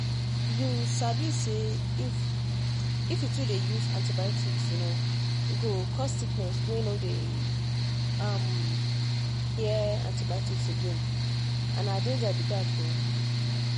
you sabi say if if you too dey use antibiotics um e go cause sickness wey no dey um hear antibiotics again and na danger be that o!